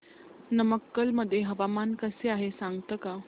नमक्कल मध्ये हवामान कसे आहे सांगता का